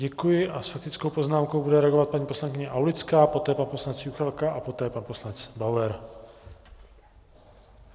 Děkuji a s faktickou poznámkou bude reagovat paní poslankyně Aulická, poté pan poslanec Juchelka a poté pan poslanec Bauer.